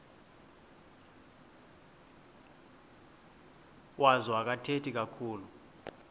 wazo akathethi kakhulu